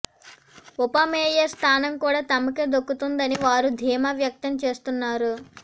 ఉప మేయర్ స్థానం కూడా తమకే దక్కుతుందని వారు ధీమా వ్యక్తం చేస్తున్నారు